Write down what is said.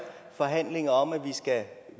forhandlinger om at